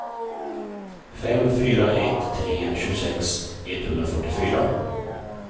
fem fyra ett tre tjugosex etthundrafyrtiofyra